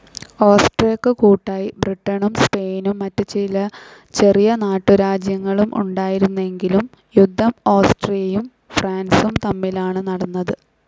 ഓസ്ട്രിയക്കു കൂട്ടായി ബ്രിട്ടനും സ്പെയിനും മറ്റു ചില ചെറിയ നാട്ടുരാജ്യങ്ങളും ഉണ്ടായിരുന്നെങ്കിലും യുദ്ധം ഓസ്ട്രിയയും ഫ്രാൻസും തമ്മിലാണ് നടന്നത്.